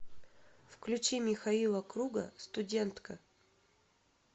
включи михаила круга студентка